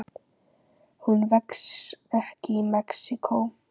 Hún vex ekki í Mexíkó.